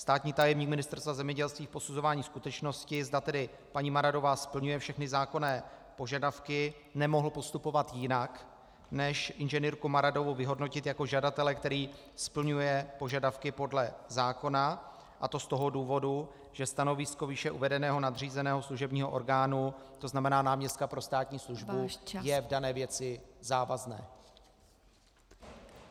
Státní tajemník Ministerstva zemědělství v posuzování skutečnosti, zda tedy paní Maradová splňuje všechny zákonné požadavky, nemohl postupovat jinak než inženýrku Maradovou vyhodnotit jako žadatele, který splňuje požadavky podle zákona, a to z toho důvodu, že stanovisko výše uvedeného nadřízeného služebního orgánu, to znamená náměstka pro státní službu , je v dané věci závazné.